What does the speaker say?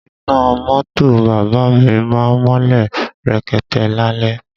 Iná mọ́tò bàbá à mi má ń mọ́lẹ̀ rekete lálẹ́